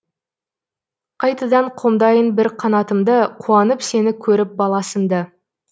қайтадан қомдайын бір қанатымды қуанып сені көріп бала сынды